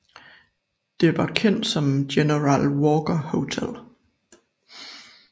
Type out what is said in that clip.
Det var kendt som General Walker Hotel